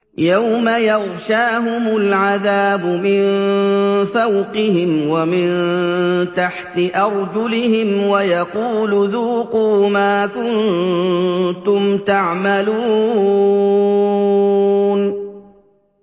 يَوْمَ يَغْشَاهُمُ الْعَذَابُ مِن فَوْقِهِمْ وَمِن تَحْتِ أَرْجُلِهِمْ وَيَقُولُ ذُوقُوا مَا كُنتُمْ تَعْمَلُونَ